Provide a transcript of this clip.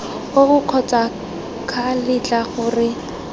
oo kgotsa ca letla gore